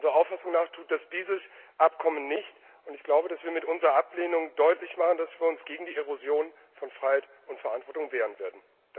Unserer Auffassung nach tut dieses Abkommen das nicht, und ich glaube, dass wir mit unserer Ablehnung deutlich machen, dass wir uns gegen die Erosion von Freiheit und Verantwortung wehren werden.